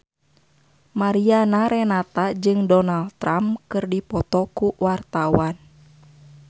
Mariana Renata jeung Donald Trump keur dipoto ku wartawan